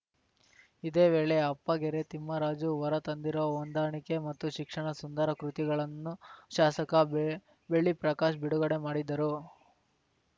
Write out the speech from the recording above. ಇದೇ ವೇಳೆ ಅಪ್ಪಗೆರೆ ತಿಮ್ಮರಾಜು ಹೊರತಂದಿರುವ ಹೊಂದಾಣಿಕೆ ಮತ್ತು ಶಿಕ್ಷಣ ಸುಂದರ ಕೃತಿಗಳನ್ನು ಶಾಸಕ ಬೆ ಬೆಳ್ಳಿ ಪ್ರಕಾಶ್‌ ಬಿಡುಗಡೆ ಮಾಡಿದರು